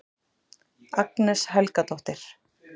Agnes Helgadóttir